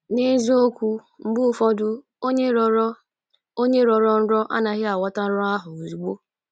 N’eziokwu, mgbe ụfọdụ onye rọrọ onye rọrọ nrọ anaghị aghọta nrọ ahụ ozugbo.